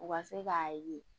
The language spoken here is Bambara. U ka se k'a ye